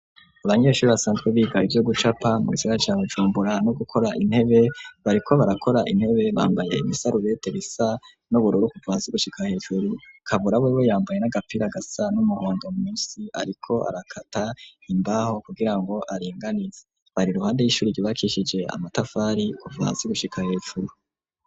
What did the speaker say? Abanyeshuri basanzwe biga ivyo gucapa mu gisagara ca Bumbura no gukora intebe bariko barakora intebe bambaye ibisarubete bisa n'ubururu kuva hasi gushika hejuru. Kabura wewe yambaye n'agapfira gasa n'umuhondo munsi ariko arakata imbaho kugirango aringanize. Bari iruhande y'ishuri ryubakishije amatafari kuva hasi gushika hejuru.